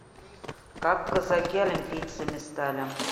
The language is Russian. как казаки олимпийцами стали